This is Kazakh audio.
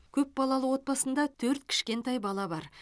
көп балалы отбасында төрт кішкентай бала бар